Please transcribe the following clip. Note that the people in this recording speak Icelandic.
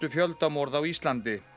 fjöldamorð á Íslandi